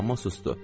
Amma sustu.